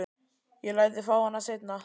Ég læt þig fá hana seinna.